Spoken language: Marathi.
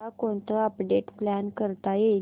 उद्या कोणतं अपडेट प्लॅन करता येईल